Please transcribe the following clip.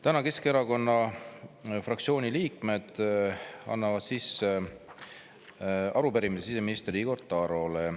Täna Keskerakonna fraktsiooni liikmed annavad sisse arupärimise siseminister Igor Tarole.